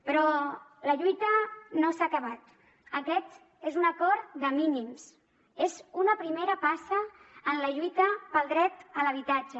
però la lluita no s’ha acabat aquest és un acord de mínims és una primera passa en la lluita pel dret a l’habitatge